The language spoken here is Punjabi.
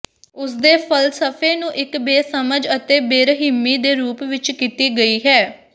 ਉਸ ਦੇ ਫ਼ਲਸਫ਼ੇ ਨੂੰ ਇੱਕ ਬੇਸਮਝ ਅਤੇ ਬੇਰਹਿਮੀ ਦੇ ਰੂਪ ਵਿੱਚ ਕੀਤੀ ਗਈ ਹੈ